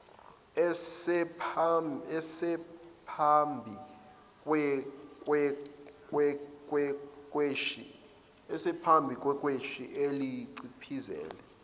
esephambi kwekheshi ayeliciphizile